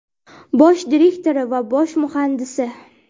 bosh direktori va bosh muhandisi.